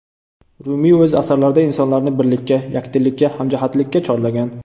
Rumiy o‘z asarlarida insonlarni birlikka, yakdillikka, hamjihatlikka chorlagan.